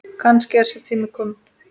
Kannski er sá tími kominn.